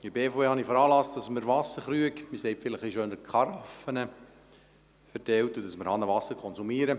In der BVE habe ich veranlasst, dass wir Wasserkrüge, respektive Karaffen, verteilen und Hahnenwasser konsumieren.